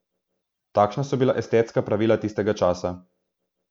Takšna so bila estetska pravila tistega časa.